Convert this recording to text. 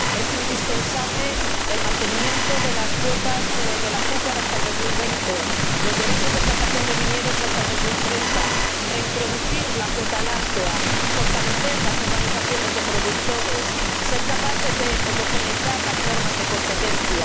Es indispensable mantener las cuotas del azúcar hasta 2020 y los derechos de plantación de viñedos hasta 2030, reintroducir la cuota láctea, fortalecer las organizaciones de productores, ser capaces de homogeneizar las normas de competencia.